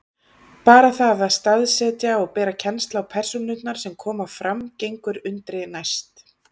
Bara það að staðsetja og bera kennsl á persónurnar sem fram koma gengur undri næst.